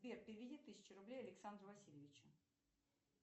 сбер переведи тысячу рублей александру васильевичу